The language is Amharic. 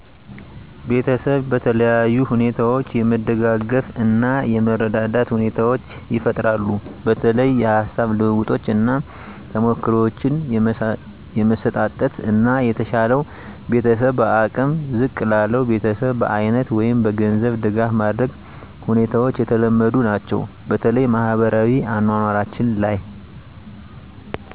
ቤተሰብ በተለያዩ ሁኔታዎች የመደጋገፍ እና የመረዳዳት ሁኔታዎቻ ይፈጠራሉ በተለይ የሀሳብ ልውውጦች እና ተሞክሮዎችን የመሰጣጠት እና የተሻለው ቤተሰብ በአቅም ዝቅ ላለው ቤተሰብ በአይነት ወይም በገንዘብ ድጋፍ ማድረግ ሁኔታዎች የተለመዱ ናቸው። በተለይ በማህበራዊ አኗኗራችን ላይ በሀዘን እና በደስታ የመገናኘት ነገሮች አሉ።